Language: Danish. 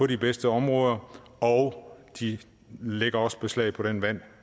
de bedste områder og de lægger også beslag på det vand